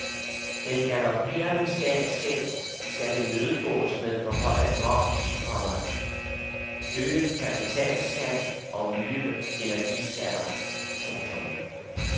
Den galopperende statsgæld skal imødegås med forhøjet moms, komma øget kapitalskat og nye energiskatter. punktum